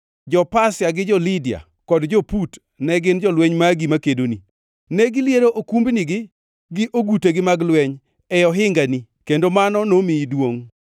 “ ‘Jo-Pasia, gi jo-Lidia kod jo-Put ne gin jolweny magi makedoni. Negiliero okumbnigi gi ogutegi mag lweny e ohingagi kendo mano nomiyi duongʼ.